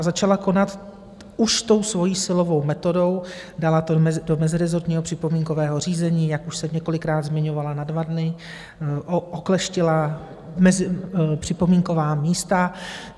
A začala konat už tou svojí silovou metodou, dala to do mezirezortního připomínkového řízení, jak už jsem několikrát zmiňovala, na dva dny, okleštila připomínková místa.